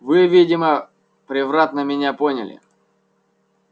вы видимо превратно меня поняли